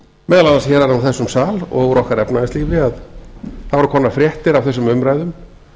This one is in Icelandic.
meðal annars héðan úr þessum sal og úr okkar efnahagslífi að það voru komnar fréttir af þessum umræðum